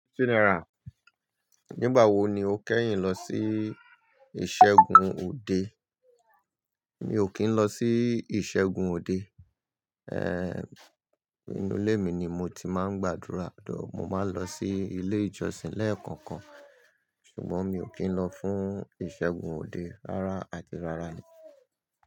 Nígbà wo ni o kẹ́yìn lọ sí ìṣẹ́gun òde? Mi ò kí ń lọ sí ìṣẹ́gun òde. Ehn, inú ilé mi ni mo ti máa ń gbàdúrà. Dó, mo máa ń lọ sí ilé ìjọsìn lẹ́ẹ̀kọ̀kan, ṣùgbọ́n mi ò kí ń lọ fún ìṣẹ́gun òde rára àti rára ni.